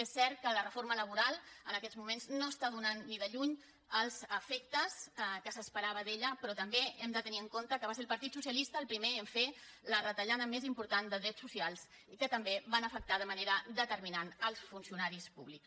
és cert que la reforma laboral en aquests moments no està donant ni de lluny els efectes que s’esperaven d’ella però també hem de tenir en compte que va ser el partit socialista el primer a fer la retallada més important de drets socials que també va afectar de manera determinant els funcionaris públics